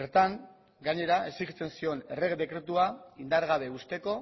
bertan gainera exijitzen zion errege dekretua indargabe uzteko